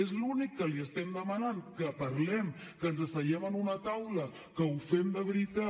és l’únic que li estem demanant que parlem que ens asseguem en una taula que ho fem de veritat